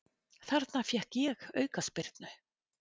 Þarna fékk ég aukaspyrnu.